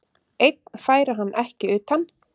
Einn færi hann ekki utan.